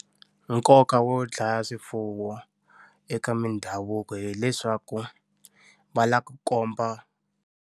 Nkoka wo dlaya swifuwo eka mindhavuko hileswaku va lava ku komba.